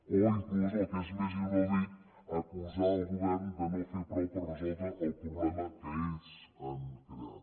o inclús el que és més inaudit acusar el govern de no fer prou per resoldre el problema que ells han creat